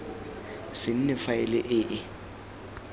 se nne faele e e